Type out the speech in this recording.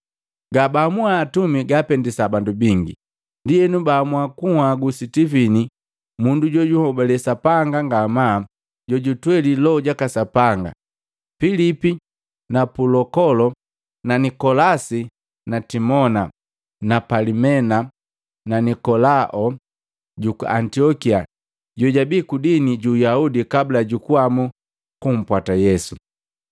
Gabaamua atumi gaapendisa bandu bingi, ndienu baamua kunhagu Sitivini, mundu jojunhobale Sapanga ngamaa nujutwelii Loho jaka Sapanga, Pilipi na Pulokolo na Nikolasi na Timona na Palimena na Nikolao juku Antiokia jojabii kudini ju Uyaudi kabla jukuamu kumpwata Yesu.